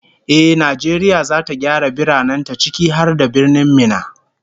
Ehh, Najeriya zata gyara biranen ta, ciki har da Birnin Minna